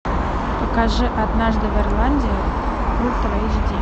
покажи однажды в ирландии ультра эйч ди